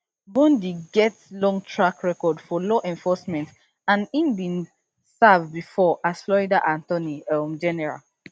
bondi get long track record for law enforcement and im bin serve bifor as florida attorney um general